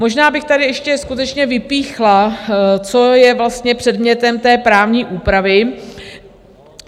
Možná bych tady ještě skutečně vypíchla, co je vlastně předmětem té právní úpravy.